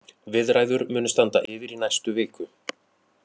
Viðræður munu standa yfir í næstu viku.